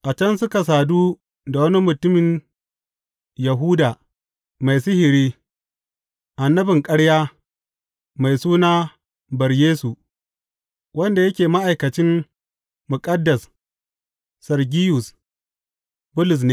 A can suka sadu da wani mutumin Yahuda mai sihiri, annabin ƙarya, mai suna Bar Yesu, wanda yake ma’aikacin muƙaddas Sergiyus Bulus ne.